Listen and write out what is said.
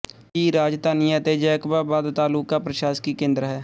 ਦੀ ਰਾਜਧਾਨੀ ਅਤੇ ਜੈਕਬਾਬਾਦ ਤਾਲੂਕਾ ਦਾ ਪ੍ਰਸ਼ਾਸਕੀ ਕੇਂਦਰ ਹੈ